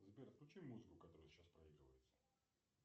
сбер включи музыку которая сейчас проигрывается